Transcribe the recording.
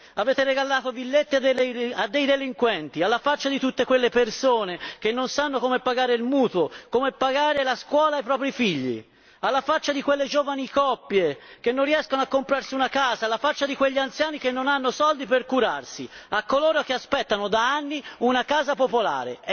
Avete regalato villette a dei delinquenti, alla faccia di tutte quelle persone che non sanno come pagare il mutuo, come pagare la scuola ai propri figli, alla faccia di quelle giovani coppie che non riescono a comprarsi una casa, alla faccia di quegli anziani che non hanno soldi per curarsi, a coloro che aspettano da anni una casa popolare!